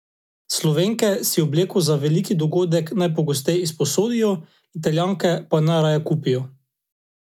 Slovenke si obleko za veliki dogodek najpogosteje izposodijo, Italijanke pa najraje kupijo.